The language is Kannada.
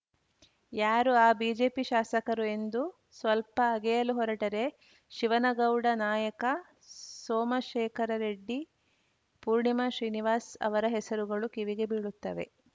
ಯಾರು ಆ ಬಿಜೆಪಿ ಶಾಸಕರು ಎಂದು ಸ್ವಲ್ಪ ಅಗೆಯಲು ಹೊರಟರೆ ಶಿವನಗೌಡ ನಾಯಕ ಸೋಮಶೇಖರ ರೆಡ್ಡಿ ಪೂರ್ಣಿಮಾ ಶ್ರೀನಿವಾಸ್‌ ಅವರ ಹೆಸರುಗಳು ಕಿವಿಗೆ ಬೀಳುತ್ತವೆ